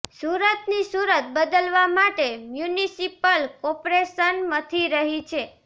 સુરતની સૂરત બદલવાં માટે મ્યુનિસિપલ કોર્પોરેશન મથી રહી છે